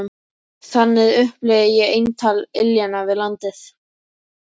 Þannig upplifði ég eintal iljanna við landið.